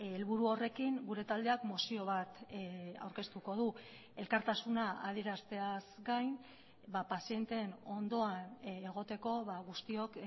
helburu horrekin gure taldeak mozio bat aurkeztuko du elkartasuna adierazteaz gain pazienteen ondoan egoteko guztiok